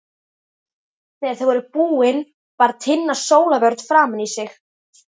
Þegar þau voru búin bar Tinna sólarvörn framan í sig.